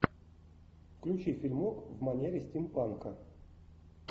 включи фильмок в манере стимпанка